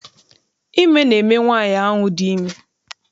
Ime na eme nwaanyị ahụ dị ime.